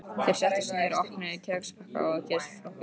Þeir settust niður og opnuðu kexpakkana og gosflöskurnar.